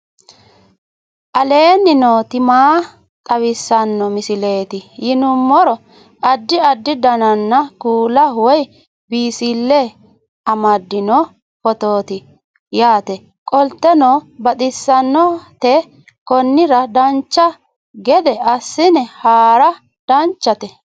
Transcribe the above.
aleenni nooti maa xawisanno misileeti yinummoro addi addi dananna kuula woy biinsille amaddino footooti yaate qoltenno baxissannote konnira dancha gede assine haara danchate